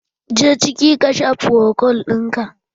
Je ciki ka sha frokol ɗinka!